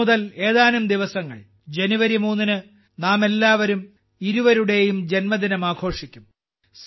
ഇന്ന് മുതൽ ഏതാനും ദിവസങ്ങൾ ജനുവരി 3 ന് നാമെല്ലാവരും ഇരുവരുടെയും ജന്മദിനം ആഘോഷിക്കും